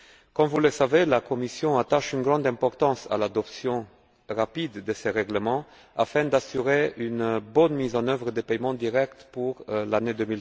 Comme vous le savez, la Commission attache une grande importance à l'adoption rapide de ce règlement afin d'assurer une bonne mise en œuvre des paiements directs en